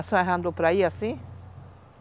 A senhora já andou por aí assim?